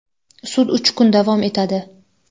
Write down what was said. Sud uch kun davom etadi….